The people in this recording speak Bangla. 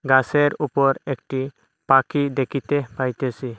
গাসের উপর একটি পাখি দেখিতে পাইতেসি।